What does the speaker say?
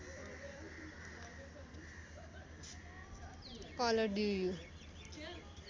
colour do you